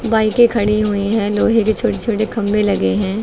बाईकें खड़ी हुई हैं लोहे के छोटे छोटे खंभे लगे हैं।